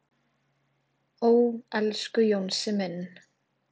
"""Ó, elsku Jónsi minn."""